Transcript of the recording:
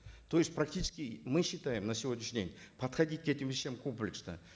то есть практически мы считаем на сегодняшний день подходить к этим вещам комплексно